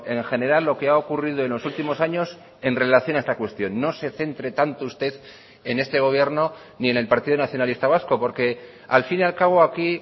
en general lo que ha ocurrido en los últimos años en relación a esta cuestión no se centre tanto usted en este gobierno ni en el partido nacionalista vasco porque al fin y al cabo aquí